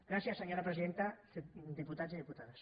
gràcies senyora presidenta diputats i diputades